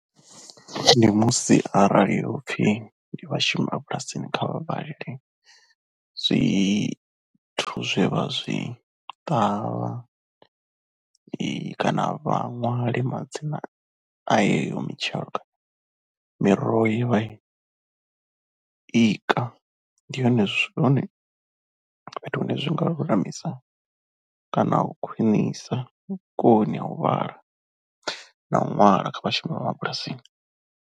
Ndi musi arali hopfhi ndi vhashumi vha bulasini kha vha vhalele zwithu zwe vha zwi ṱavha kana vhaṅwali madzina a heyo mitshelo, miroho ye vha ika ndi hone zwithu, fhethu hune zwi nga lulamisa kana u khwinisa vhukoni ha u vhala na u ṅwala kha vhashumi vha mabulasini.